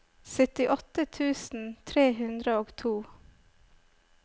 syttiåtte tusen tre hundre og to